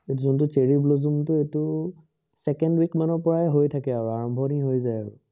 যোনটো cherry blossom টো এইটো second week মানৰ পৰাই হয় থাকে আৰু আৰম্ভণি হয় যায় আৰু